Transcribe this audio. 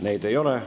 Neid ei ole.